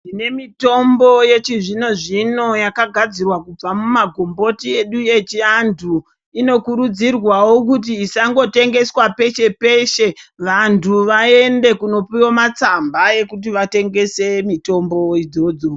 Tine mitombo yechizvino-zvino yakagadzirwa kubva mumagomboti edu echiantu. Inokurudzirwawo kuti isangotengeswa peshe-peshe. Vantu vaende kunopiwa matsamba ekuti vatengese mitombo idzodzo.